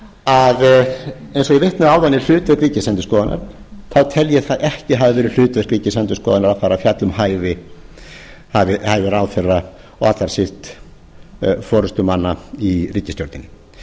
að eins og ég vitnaði áðan í hlutverk ríkisendurskoðunar þá tel ég það ekki hafa verið hlutverk ríkisendurskoðunar að fara að fjalla um hæfi ráðherra og allar síst forustumanna í ríkisstjórninni